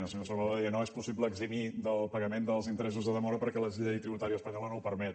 el senyor salvadó deia no és possible eximir del pagament dels interessos de demora perquè la llei tributària espanyola no ho permet